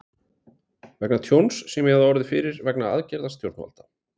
vegna tjóns sem ég hafði orðið fyrir vegna aðgerða stjórnvalda.